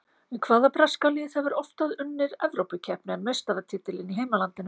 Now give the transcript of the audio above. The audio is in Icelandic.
Hvaða breska lið hefur oftar unnið Evrópukeppni en meistaratitilinn í heimalandinu?